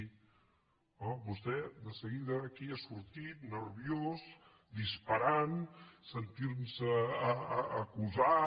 home vostè de seguida aquí ha sortit nerviós disparant sentint se acusat